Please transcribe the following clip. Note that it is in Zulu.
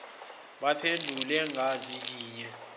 baphendule ngazwi linye